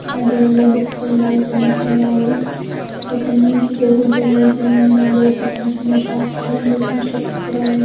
దాంట్లో ఎన్నో బుక్స్ ఉన్నాయ్. పెన్స్ ఉన్నాయి. ఒక మనిషి టేబుల్ దెగ్గర నించుని ఉన్నాడు. పక్కన చిన్న షాప్ కూడా ఉంది. కొన్ని స్టెప్స్ కూడా ఉన్నాయి.